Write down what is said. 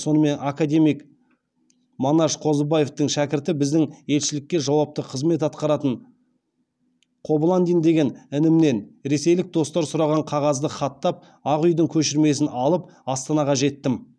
сонымен академик манаш қозыбаевтың шәкірті біздің елшілікте жауапты қызмет атқаратын қобыландин деген інімнен ресейлік достар сұраған қағазды хаттап ақ үйдің көшірмесін алып астанаға жеттім